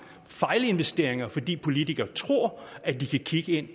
fejlinvesteringer fordi politikere tror at de kan